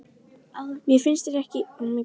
Mér finnst ég ekki einn um að vera svona